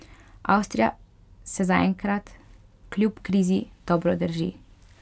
Avstrija se zaenkrat kljub krizi dobro drži.